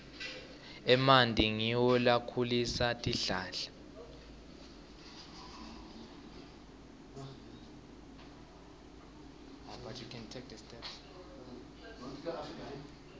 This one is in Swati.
emanti ngiwo lakhulisa tihlahla